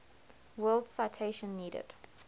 world citation needed